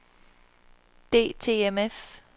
DTMF